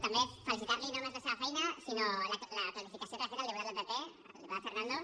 també felicitar la no només per la seva feina sinó per la clarificació que li ha fet al diputat del pp el diputat fernando